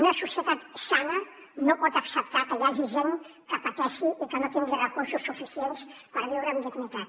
una societat sana no pot acceptar que hi hagi gent que pateixi i que no tingui recursos suficients per viure amb dignitat